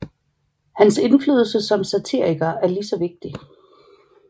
Hans indflydelse som satiriker er ligeså vigtig